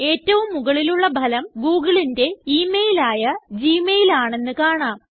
ഏറ്റവും മുകളിലുള്ള ഫലം googleന്റെ ഇമെയിൽ ആയ ഗ്മെയിൽ ആണെന്ന് കാണാം